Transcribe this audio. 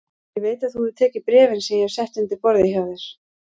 Ég veit að þú hefur tekið bréfin sem ég hef sett undir borðið hjá þér